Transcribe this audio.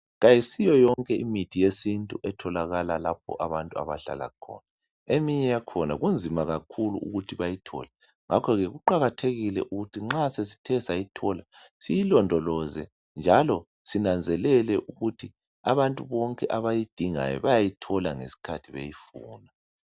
Kayisiyo yonke imithi yesintu etholakala lapho abantu abahlala khona .Eminye yakhona kunzima kakhulu ukuthi bayithole .Ngakho ke kuqakathekile ukuthi nxa sesithe sayithola siyilondoloze .Njalo sinanzelele ukuthi abantu bonke abayidingayo bayayithola ngesikhathi beyifuna.